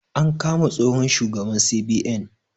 An kama tsohon shugaban CBN